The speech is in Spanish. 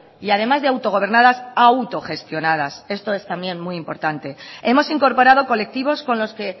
y además de autogobernadas autogestionadas esto es también muy importante hemos incorporado colectivos con los que